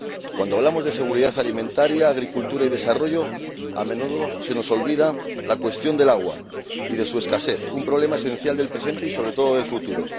Cuando hablamos de seguridad alimentaria, agricultura y desarrollo, a menudo se nos olvida la cuestión del agua y de su escasez, un problema esencial del presente y sobre todo del futuro.